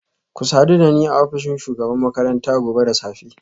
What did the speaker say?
Ku sadu da ni a ofishin shugabar makaranta gobe da safe